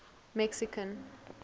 mexican